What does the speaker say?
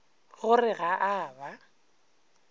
go re ga a ba